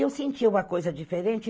Eu senti uma coisa diferente.